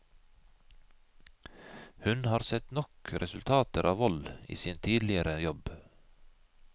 Hun har sett nok resultater av vold i sin tidligere jobb.